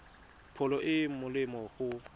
pholo e e molemo go